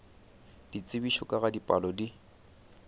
ditsebišo ka ga dipalo di